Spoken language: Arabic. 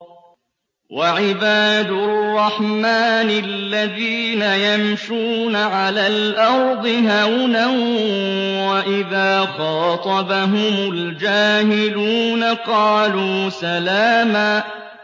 وَعِبَادُ الرَّحْمَٰنِ الَّذِينَ يَمْشُونَ عَلَى الْأَرْضِ هَوْنًا وَإِذَا خَاطَبَهُمُ الْجَاهِلُونَ قَالُوا سَلَامًا